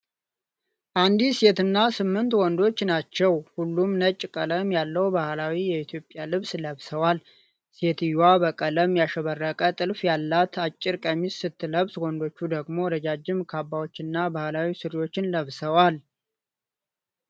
አንዲት ሴትና ስምንት ወንዶች ናቸው ። ሁሉም ነጭ ቀለም ያለው ባህላዊ የኢትዮጵያ ልብስ ለብሰዋል። ሴትየዋ በቀለም ያሸበረቀ ጥልፍ ያላት አጭር ቀሚስ ስትለብስ፣ ወንዶቹ ደግሞ ረጃጅም ካባዎችና ባህላዊ ሱሪዎች ለብሰዋል ።